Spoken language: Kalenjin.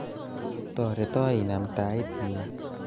toreto inam tait nyu